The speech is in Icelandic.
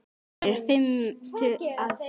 Þær eru fimm að tölu.